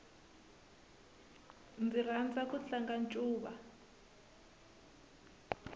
ndzi rhandza ku tlanga ncuva